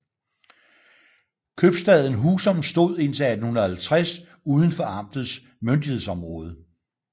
Købstaden Husum stod indtil 1850 uden for amtets myndighedsområde